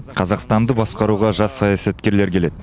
қазақстанды басқаруға жас саясаткерлер келеді